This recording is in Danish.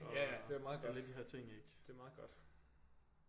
Ja ja det er meget godt det er meget godt